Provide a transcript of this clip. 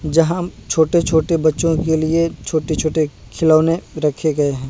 जहाँ छोटे छोटे बच्चों के लिए छोटे छोटे खिलौने रखें गए है।